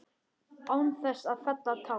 Án þess að fella tár.